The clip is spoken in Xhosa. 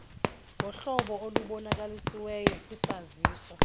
ngohlobo olubonakalisiweyo kwisaziso